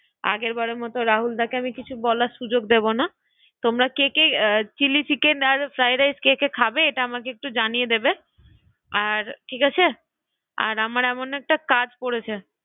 আগের বারের মতো ঠিক আছে তাই হলো রাহুলদাকে আমি কিছু বলার সুযোগ দেব না তোমরা কে কে ফ্রাইডরাইস চিলি চিকেন খাবে সেটা আমাকে একটু জানিয়ে দেবে আর ঠিক আছে আর আমার এমন একটা কাজ বেশ তাই হলো পড়েছে